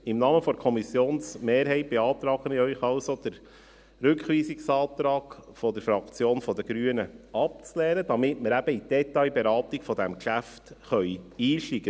Im Namen der Kommissionsmehrheit beantrage ich Ihnen also, den Rückweisungsantrag der Fraktion der Grünen abzulehnen, damit wir in die Detailberatung dieses Geschäfts einsteigen können.